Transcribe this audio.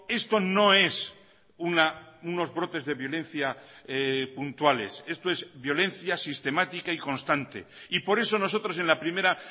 esto no es unos brotes de violencia puntuales esto es violencia sistemática y constante y por eso nosotros en la primera